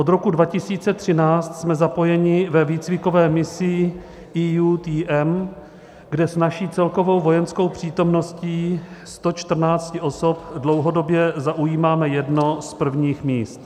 Od roku 2013 jsme zapojeni ve výcvikové misi EUTM, kde s naší celkovou vojenskou přítomností 114 osob dlouhodobě zaujímáme jedno z prvních míst.